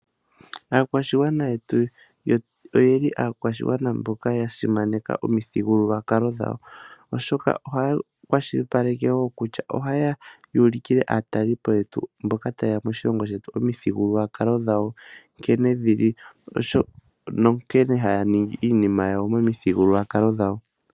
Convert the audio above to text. Aakwashigwana yetu oyeli aakwashigwana mboka ya simaneka omuthigululwakalo dhawo oshoka ohaya kwashilipaleke kutya ohaya ulikile aatalelipo mboka tayeya moshilongo shetu nkene dhili niinima mbyoka haya ningi momithigululwakalo dhawo.